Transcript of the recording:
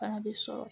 Fana bɛ sɔrɔ